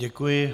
Děkuji.